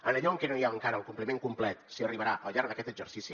en allò en què no hi ha encara el compliment complet s’hi arribarà al llarg d’aquest exercici